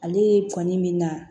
Ale ye fani min na